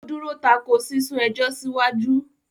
Ó dúró tako “ sísún ẹjọ́ síwájú ”.